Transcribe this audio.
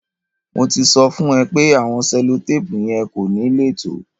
Mo ti sọ̀ fún o pẹ̀ àwọn sẹ̀lọ̀tàpù yẹn kò ní le tó